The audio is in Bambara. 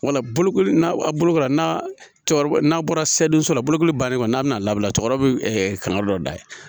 Wala bolokoli n'a bolo n'a cɛkɔrɔba n'a bɔra so la bolokoli bannen kɔni n'a bɛna labɔ a bɛ kanga dɔ da yen